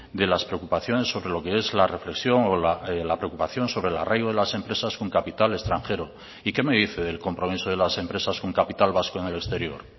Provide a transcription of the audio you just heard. de las preocupaciones sobre lo que es la reflexión o la preocupación sobre el arraigo de las empresas con capital extranjero y qué me dice del compromiso de las empresas con capital vasco en el exterior